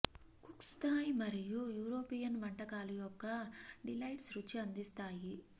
cooks Thai మరియు European వంటకాలు యొక్క డిలైట్స్ రుచి అందిస్తాయి